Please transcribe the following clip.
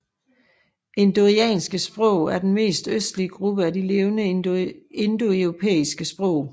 Indoiranske sprog er den mest østlige gruppe af de levende indoeuropæiske sprog